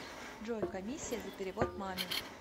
джой комиссия за перевод маме